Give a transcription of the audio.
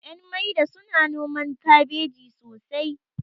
ƴan maida suna noman kabeji sosai